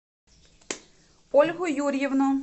ольгу юрьевну